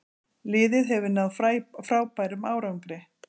Liðið hefur náð frábærum árangri.